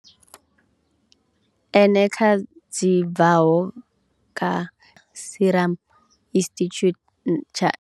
Eneca dzi bvaho kha Serum Institute tsha.